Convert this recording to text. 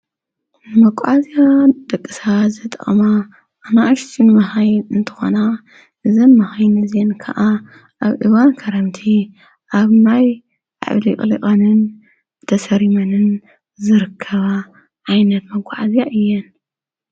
መጓዓዓዝያ ንደቂ ሰባት ዝጠቕማ ኣናእሽቲ መኪና እንትኾና እዘን መኻይን እዚአን ከዓ ኣብ እዋን ክረምቲ ኣብ ማይ ተሰሪመን ዝርከባ ዓይነት መጓዓዝያ እየን፡፡